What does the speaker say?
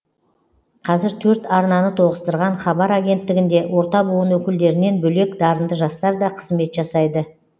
қазір төрт арнаны тоғыстырған хабар агенттігінде орта буын өкілдерінен бөлек дарынды жастар да қызмет жасайды